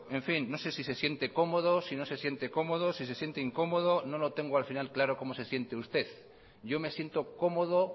en fin no sé si se siente cómodo si no se siente cómodo si se siente incómodo no lo tengo al final claro cómo se siente usted yo me siento cómodo